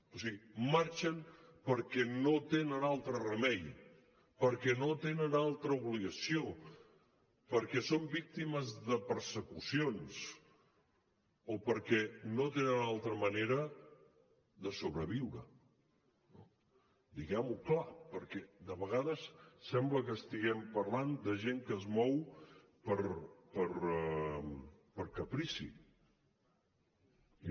o sigui marxen perquè no tenen altre remei perquè no tenen altra obligació perquè són víctimes de persecucions o perquè no tenen altra manera de sobreviure no diguem ho clar perquè de vegades sembla que estiguem parlant de gent que es mou per caprici i no